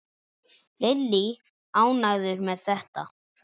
Lillý: Ánægður með þetta?